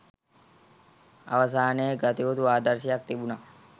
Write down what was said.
අවසානයේ ගතයුතු ආදර්ශයක් තිබුණා